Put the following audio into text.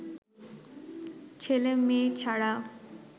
ছেলে মেয়ে ছাড়া